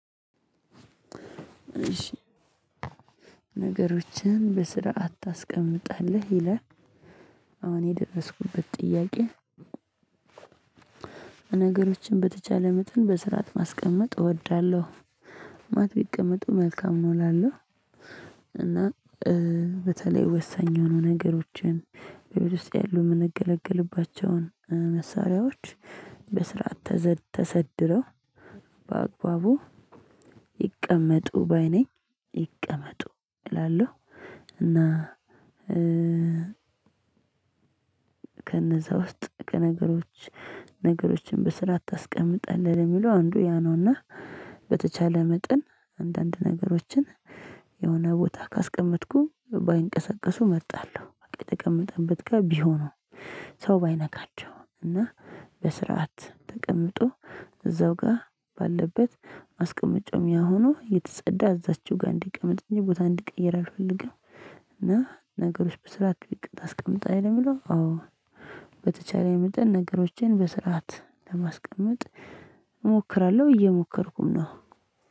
ነገሮችን በስርዓት ታስቀምጣለህ ይላል አሁን የደረስኩበት ጥያቄ? ነገሮችን በተቻለ መጠን በስርዓት ማስቀመጥ እወዳለሁ ማለት ቢቀመጡ መልካም ነው እላለሁ። እና በተለይ ወሳኝ የሆኑ ነገሮችን በቤት ውስጥ ያሉ የምንገለገልባቸውን መሳሪያዎች በስርዓት ተሰድረው በአግባቡ ይቀመጡ ባይ ነኝ ይቀመጡ እላለሁ። እና ከነዛ ውስጥ ከነገሮች ነገሮችን በስርዓት ታስቀምጣለህ ለሚለው አንዱ ያ ነው። እና በተቻለ መጠን አንዳንድ ነገሮችን የሆነ ቦታ ካስቀመጥኩ ባይንቀሳቀሱ እመርጣለሁ። በቃ የተቀመጠበት ጋር ቢሆኑ ሰው ባይነካቸውም እና በስርዓት ተቀምጦ እዛው ጋር ባለበት አስቀመጬው ያው ሆኖ የተጸዳ እዛችው ጋር እንዲቀመጥ እንጂ ቦታ እንዲቀይር አልፈልግም። እና ነገሮች በስርዓት ታስቀምጣለህ ለሚለው አዎ በተቻለኝ መጠን ነገሮችን በስርዓት ለማስቀመጥ እሞክራለሁ እየሞከርኩም ነው።